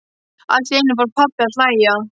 Allt í einu fór pabbi að hlæja.